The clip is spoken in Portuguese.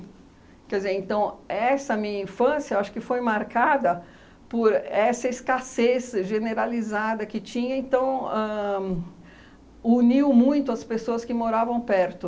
Quer dizer, então, essa minha infância, acho que foi marcada por essa escassez generalizada que tinha, então, ãh uniu muito as pessoas que moravam perto.